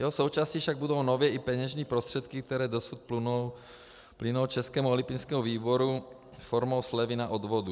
Jeho součástí však budou nově i peněžní prostředky, které dosud plynou Českému olympijskému výboru formou slevy na odvodu.